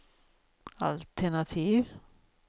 altenativ